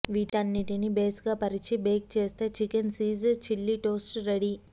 వీటన్నింటినీ బేస్ గా పరిచి బేక్ చేస్తే chicken cheese chilli toast ready